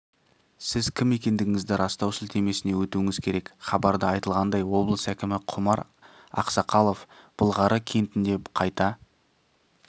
сіз кім екендігіңізді растау сілтемесіне өтуіңіз керек хабарда айтылғандай облыс әкімі құмар ақсақалов былғары кентінде қайта